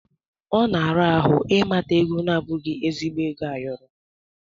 Ọ na-ara ahụ ịmata ego na-abụghị ezigbo ego ayọrọ.